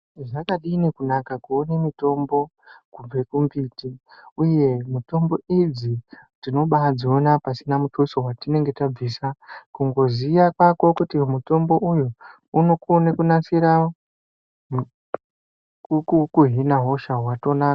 Zvakadini kunaka kuone mitombo kubve kumbiti, uye mitombo idzi tinobadziona pasina mutuso watinenge tabvisa kungoziya kwako kuti mutombo uyu unokona kunasira, kuhina hosha watonaka.